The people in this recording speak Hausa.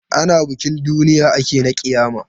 Ana bikin duniya ake na ƙiyama.